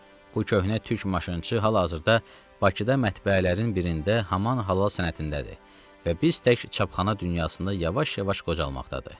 Bu köhnə Türk maşınçısı hal-hazırda Bakıda mətbəələrin birində haman halal sənətindədir və biz tək çapxana dünyasında yavaş-yavaş qocalmaqdadır.